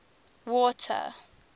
water